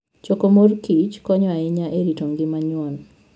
Choko mor kich konyo ahinya e rito ngima nyuon.